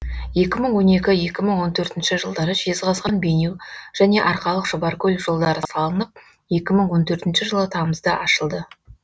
екі мың он екі екі мың он төртінші жылдары жезқазған бейнеу және арқалық шұбаркөл жолдары салынып екі мың он төртінші жылы тамызда ашылды